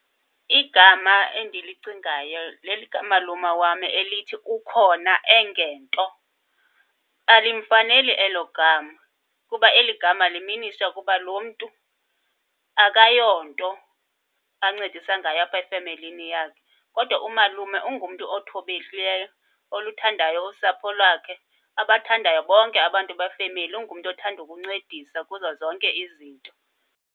Igama endilicingayo lelikamalume wam elithi, Ukhona-engento. Alimfaneli elo gama, kuba eli gama liminisha ukuba loo mntu akayonto ancedisa ngayo apha efemelini yakhe. Kodwa umalume ungumntu othobekileyo, oluthandayo usapho lwakhe, abathandayo bonke abantu befemeli. Ungumntu othanda ukuncedisa kuzo zonke izinto.